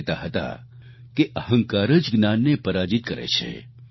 તેઓ કહેતા હતા કે અહંકાર જ જ્ઞાનને પરાજિત કરે છે